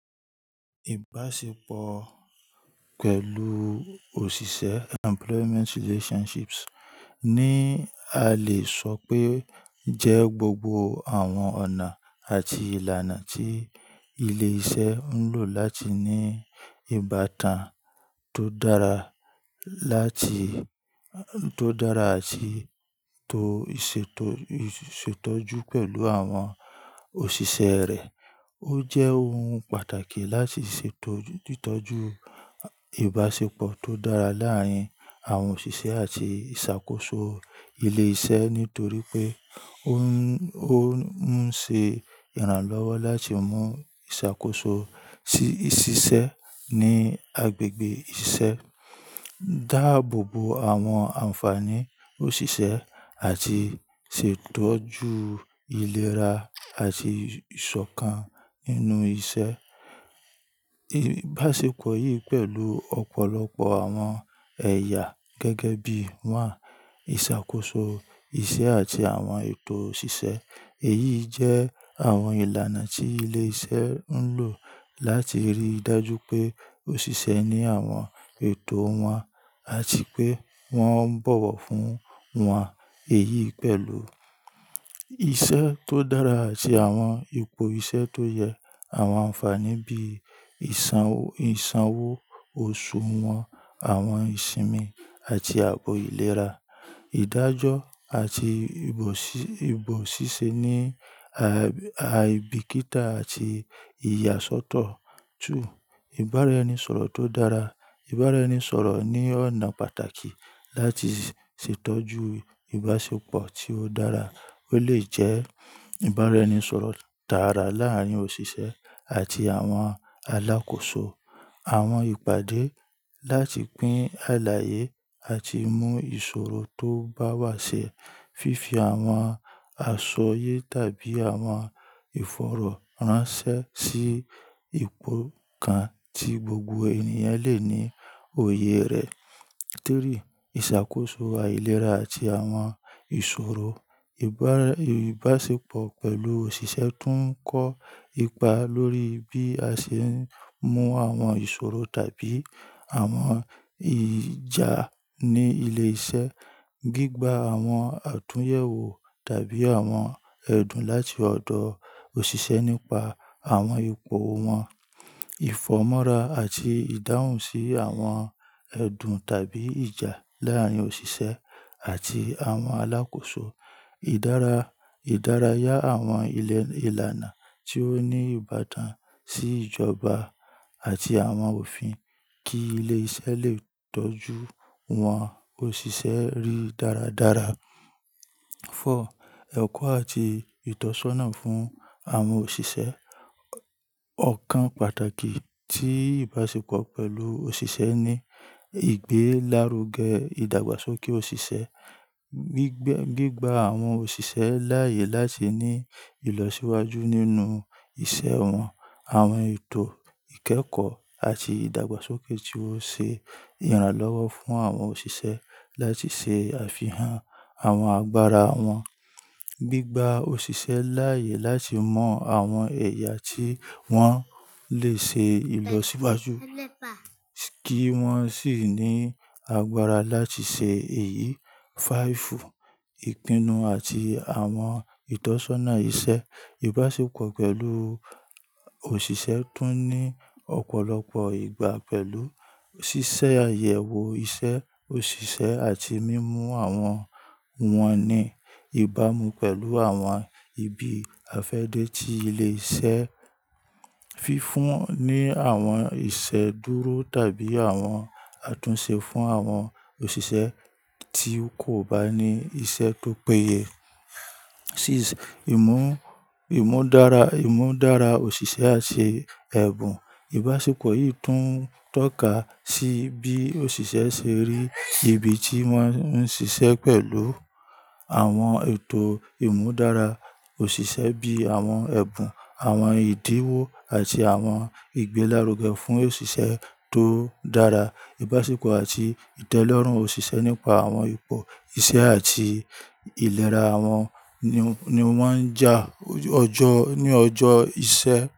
Ìbáṣepọ̀ pẹ̀lú òṣìṣẹ́, employment relationships, ni a lè sọ pé jẹ́ gbogbo àwọn ọ̀nà àti ìlànà tí ilé-iṣẹ́ ń lò láti ní ìbátan tó dára láti-- tó dára àti tó ṣètọ́jú pẹ̀lú àwọn òṣìṣẹ́ rẹ̀. Ó jẹ́ ohun pàtàkì láti ṣètọ́jú ìbáṣepọ̀ tó dára láàárín àwọn òṣìṣẹ́ àti ìṣàkóso ilé iṣẹ́ nítorí pé ó ń ṣe ìrànlọ́wọ́ láti mú ìṣàkóso sí ṣíṣẹ́ ní agbègbè ìṣe, dáàbò bo àwọn ànfàní òṣìṣẹ́ àti ṣètọ́jú ìlera àti ìṣọ̀kan nínú iṣẹ́. Ìbáṣepọ̀ yìí pẹ̀lú ọ̀pọ̀lọpọ̀ àwọn ẹ̀yà gẹ́gẹ́ bí i one ìṣàkóso iṣẹ́ àti àwọn ètò òṣìṣẹ́. Èyí jẹ́ àwọn ìlànà tí ilé iṣẹ́ ń lò láti rí i dájú pé òṣìṣẹ́ ní àwọn ètò wọn àti pé wọ́n ń bọ̀wọ̀ fún wọn. Èyí pẹ̀lú iṣẹ́ tó dára àti àwọn ipò iṣẹ́ tó yẹ àwọn ànfàní bí i ìsanwó oṣù wọn, àwọn ìsinmi àti ààbò ìlera, ìdájọ́ àti ìbò ṣíṣe ní aibikita àti ìyàsọ́tọ̀. Two, ìbára-ẹni-sọ̀rọ̀ tó dára. Ìbára-ẹni-sọ̀rọ̀ ní ọ̀nà pàtàkì láti ṣètọ́jú ìbáṣepọ̀ tí ó dára. Ó lè jẹ́ ìbára-ẹni-sọ̀rọ̀ dára láàárín òṣìṣẹ́ àti àwọn alákòóso, àwọn ìpàdé láti pín àlàyé àti mú ìṣòro tó bá wà ṣe, fífi àwọn aṣọ yé tàbí àwọn ìfọ̀rọ̀ ránṣẹ́ sí ipò kan tí gbogbo ènìyàn lè ní òye rẹ̀. Three, ìṣàkóso àìlera àti àwọn ìṣòro. Ìbáṣepọ̀ pẹ̀lú òṣìṣẹ́ tún ń kọ ipa lórí bí a ṣe ń mú àwọn ìṣòro tàbí àwọn ìjà ní ilé iṣẹ́, gbígba àwọn àtúnyẹ̀wò tàbí àwọn ẹ̀dùn láti ọ̀dọ̀ òṣìṣẹ́ nípa àwọn ipò wọn, ìfọ̀mọ́ra àti ìdáhùn sí àwọn ẹ̀dùn tàbí ìjà láàárín òṣìṣẹ́ àti àwọn alákòóso. Idaraa. Ìdárayá àwọn ìlànà tí ó ní ìbátan sí ìjọba àti àwọn òfin kí ilé iṣẹ́ lè tọ́jú wọ́n òṣìṣẹ́ rí dáradára. Four, ẹ̀kọ́ àti ìtọ́sọ́nà fún àwọn òṣìṣẹ́. Ọ̀kan pàtàkì tí ìbáṣepọ̀ pẹ̀lú òṣìṣẹ́ ní ìgbélárugẹ́ ìdàgbàsókè òṣìṣẹ́, gbígba àwọn òṣìṣẹ́ láàyè láti ní ìlọsíwájú nínú ìṣe wọn, àwọn ètò ìkẹ́kọ̀ọ́ àti ìdàgbàsókè tí ó ṣe ìrànlọ́wọ́ fún àwọn òṣìṣẹ́ láti ṣe àfihàn àwọn agbára wọn. Gbígba òṣìṣẹ́ láàyè láti mọ àwọn ẹ̀yà tí wọ́n lè ṣe ìlọsíwájú kí wọ́n sì ní agbára láti ṣe èyí. Five, ìpinnu àti àwọn ìtọ́sọ́nà iṣẹ́. Ìbáṣepọ̀ pẹ̀lú òṣìṣẹ́ tún ní ọ̀pọ̀lọpọ̀ igba pẹ̀lú ṣíṣe àyẹ̀wò iṣẹ́ òṣìṣẹ́ àti mímú àwọn wọn ní ìbámu pẹ̀lú àwọn ibi àfẹ́dẹ́ tí ilé iṣẹ́ fi fún ní àwọn ìṣẹ̀dúró tàbí àwọn àtúnṣe fún àwọn òṣìṣẹ́ tí kò bá ní iṣẹ́ tó péye. Six, ìmúdára òṣìṣẹ́ àti ẹ̀bùn. Ìbáṣepọ̀ yìí tún tọ́ka sí bí òṣìṣẹ́ ṣe rí ibi tí wọ́n ń ṣiṣẹ́ pẹ̀lú àwọn ètò ìmúdára òṣìṣẹ́ bí i àwọn ẹ̀bùn, àwọn ìdíwó àti àwọn ìgbélárugẹ́ fún òṣìṣẹ́ tó dára. Ìbáṣepọ̀ àti ìtẹ́lọ́rùn òṣìṣẹ́ nípa àwọn ipò iṣẹ́ àti ìlera wọn ni ó máa ń jà ní ọjọ́ iṣẹ́.